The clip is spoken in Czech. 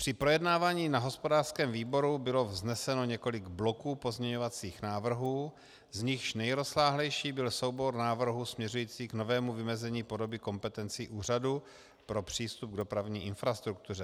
Při projednávání na hospodářském výboru bylo vzneseno několik bloků pozměňovacích návrhů, z nichž nejrozsáhlejší byl soubor návrhů směřujících k novému vymezení podoby kompetencí Úřadu pro přístup k dopravní infrastruktuře.